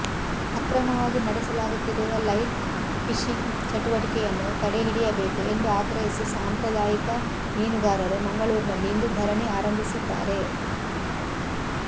ಅಕ್ರಮವಾಗಿ ನಡೆಸಲಾಗುತ್ತಿರುವ light fishing ಚಟುವಟಿಕೆಯನ್ನು ತಡೆಹಿಡಿಯಬೇಕು ಎಂದು ಆಗ್ರಹಿಸಿ ಸಾಂಪ್ರದಾಯಿಕ ಮೀನುಗಾರರು ಮಂಗಳೂರಿನಲ್ಲಿ ಇಂದು ಧರಣಿ ಆರಂಭಿಸಿದ್ದಾರೆ